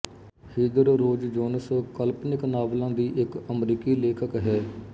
Heather Rose Jones ਕਲਪਨਿਕ ਨਾਵਲਾਂ ਦੀ ਇੱਕ ਅਮਰੀਕੀ ਲੇਖਕ ਹੈ